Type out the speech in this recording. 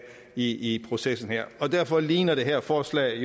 i processen her derfor ligner det her forslag